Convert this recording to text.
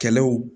Kɛlɛw